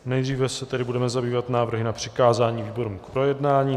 Nejdříve se tedy budeme zabývat návrhy na přikázání výborům k projednání.